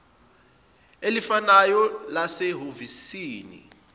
elifanayo lase hhovisi